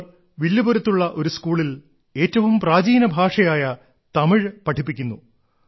അവർ വില്ലുപുരത്തുള്ള ഒരു സ്കൂളിൽ ഏറ്റവും പ്രാചീന ഭാഷയായ തമിഴ് പഠിപ്പിക്കുന്നു